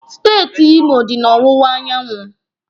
Steeti Imo dị na ọwụwa anyanwụ